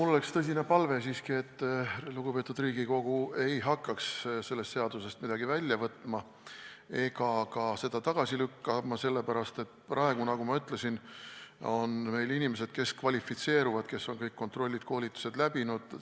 Mul oleks siiski tõsine palve, et lugupeetud Riigikogu ei hakkaks sellest seadusest midagi välja võtma ega seda ka tagasi lükkama, sellepärast, et praegu, nagu ma ütlesin, on meil inimesed, kes kvalifitseeruvad, on kõik kontrollid-koolitused läbinud.